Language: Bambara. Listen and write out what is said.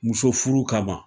Muso furu kaban